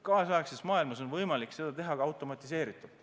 Kaasaegses maailmas on võimalik seda teha automatiseeritult.